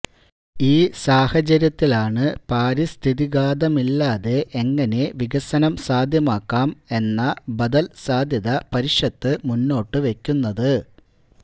ഈ സാഹചര്യത്തിലാണ് പാരിസ്ഥിതിഘാതമില്ലാതെ എങ്ങനെ വികസനം സാധ്യമാക്കാം എന്ന ബദല് സാധ്യത പരിഷത്ത് മുന്നോട്ട് വെക്കുന്നത്